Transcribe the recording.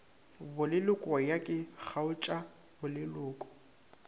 boleloko ya ke kgaotša boleloko